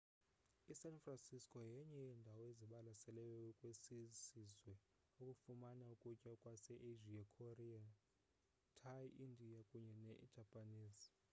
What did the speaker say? i-san francisco yenye yeendawo ezibalaseleyo kwesisizwe ukufumana ukutya kwase asia korean thai indian kunye ne-japanese